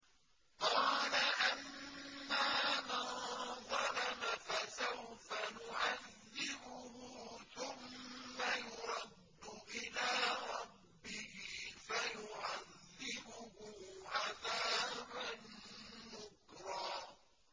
قَالَ أَمَّا مَن ظَلَمَ فَسَوْفَ نُعَذِّبُهُ ثُمَّ يُرَدُّ إِلَىٰ رَبِّهِ فَيُعَذِّبُهُ عَذَابًا نُّكْرًا